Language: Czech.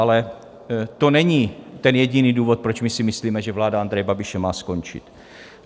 Ale to není ten jediný důvod, proč my si myslíme, že vláda Andreje Babiše má skončit.